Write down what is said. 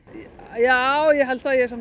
já ég held það ég er